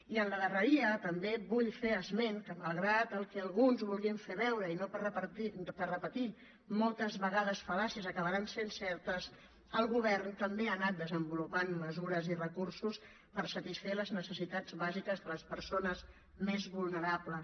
i a la darreria també vull fer esment que malgrat el que alguns vulguin fer veure i no per repetir moltes vegades fal·làcies acabaran sent certes el govern també ha anat desenvolupant mesures i recursos per satisfer les necessitats bàsiques de les persones més vulnerables